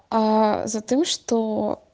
а за тым что